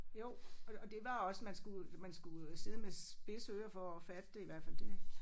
Jo og og det var også man skulle man skulle øh sidde med spidse ører for at fatte det i hvert fald det